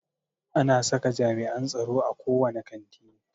Ana saka jami'an tsaro a ko wane kanti.